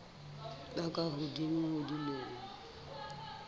ba ka hodimo ho dilemo